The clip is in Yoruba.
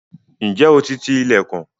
Ǹjẹ́ o ti ti ilẹ̀kùn?